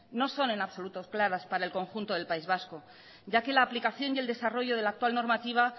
no son en absoluto claras para el conjunto del país vasco ya que la aplicación y el desarrollo de la actual normativa